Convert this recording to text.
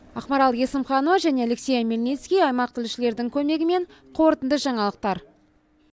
ақмарал есімханова және алексей омельницкий аймақ тілшілердің көмегімен қорытынды жаңалықтар